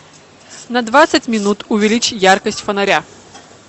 на двадцать минут увеличь яркость фонаря